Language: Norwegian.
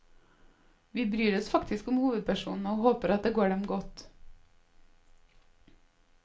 Vi bryr oss faktisk om hovedpersonene og håper at det går dem godt.